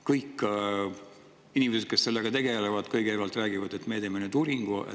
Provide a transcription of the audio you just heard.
Kõik inimesed, kes sellega tegelevad, kõigepealt räägivad, et me teeme nüüd uuringu.